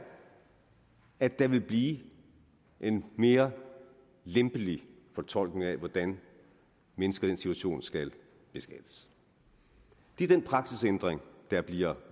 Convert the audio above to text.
at der vil blive en mere lempelig fortolkning af hvordan mennesker i den situation skal beskattes det er den praksisændring der bliver